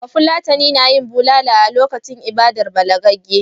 Bafulatani na yin bulala a lokacin ibadar balagagge.